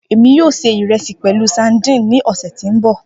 Emi yoo se iresi pẹlu sadíìnì ni ọsẹ ti n bọ.